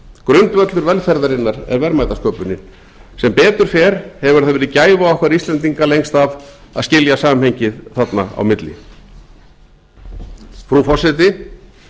grundvöllur velferðarinnar er verðmætasköpunin sem betur fer hefur það verið gæfa okkar íslendinga lengst af að skilja samhengið þarna á milli frú forseti